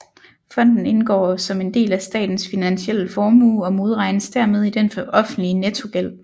Fonden indgår som en del af statens finansielle formue og modregnes dermed i den offentlige nettogæld